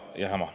Aitäh!